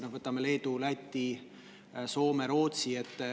No võtame Leedu, Läti, Soome ja Rootsi.